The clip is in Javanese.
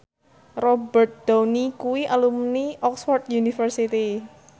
Robert Downey kuwi alumni Oxford university